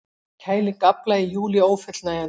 Kæling afla í júlí ófullnægjandi